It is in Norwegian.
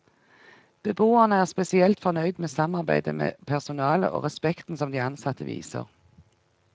Beboerne er spesielt fornøyd med samarbeidet med personalet og respekten som de ansatte viser.